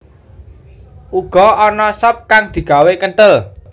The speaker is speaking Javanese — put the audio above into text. Uga ana sop kang digawé kenthel